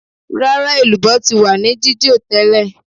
Rárá, elubo ti wà ní jijo tẹ́lẹ̀